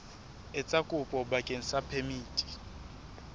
etsa kopo bakeng sa phemiti